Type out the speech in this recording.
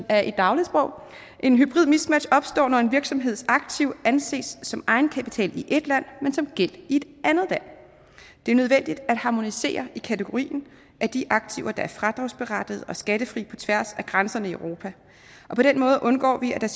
er i dagligsprog et hybridt mismatch opstår når en virksomheds aktiv anses som egenkapital i ét land men som gæld i et andet land det er nødvendigt at harmonisere i kategorien af de aktiver der er fradragsberettigede og skattefrie på tværs af grænserne i europa på den måde undgår vi at der